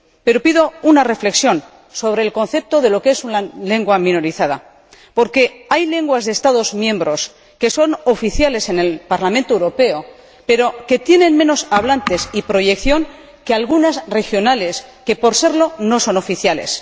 Pero pido una reflexión sobre el concepto de lo que es una lengua minorizada, porque hay lenguas de Estados miembros que son oficiales en el Parlamento Europeo, pero que tienen menos hablantes y proyección que algunas regionales, que, por serlo, no son oficiales.